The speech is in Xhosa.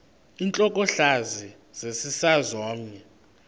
intlokohlaza sesisaz omny